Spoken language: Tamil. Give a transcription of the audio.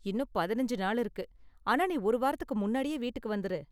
இன்னும் பதினஞ்சு நாள் இருக்கு, ஆனா நீ ஒரு வாரத்துக்கு முன்னாடியே வீட்டுக்கு வந்துரு.